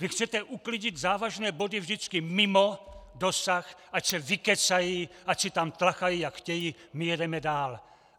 Vy chcete uklidit závažné body vždycky mimo dosah, ať se vykecají, ať si tam tlachají, jak chtějí, my jedeme dál!